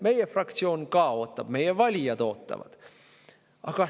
Meie fraktsioon ka ootab, meie valijad ootavad.